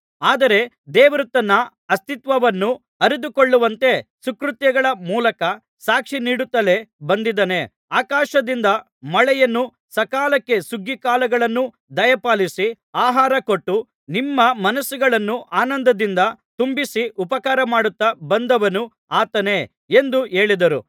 ಆದರೆ ದೇವರು ತನ್ನ ಅಸ್ತಿತ್ವವನ್ನು ಅರಿತುಕೊಳ್ಳುವಂತೆ ಸುಕೃತ್ಯಗಳ ಮೂಲಕ ಸಾಕ್ಷಿ ನೀಡುತ್ತಲೇ ಬಂದಿದ್ದಾನೆ ಆಕಾಶದಿಂದ ಮಳೆಯನ್ನೂ ಸಕಾಲಕ್ಕೆ ಸುಗ್ಗಿಕಾಲಗಳನ್ನೂ ದಯಪಾಲಿಸಿ ಆಹಾರ ಕೊಟ್ಟು ನಿಮ್ಮ ಮನಸ್ಸುಗಳನ್ನು ಆನಂದದಿಂದ ತುಂಬಿಸಿ ಉಪಕಾರಮಾಡುತ್ತಾ ಬಂದವನು ಆತನೇ ಎಂದು ಹೇಳಿದರು